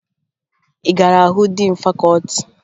Ị gara hụ diin fakọọti?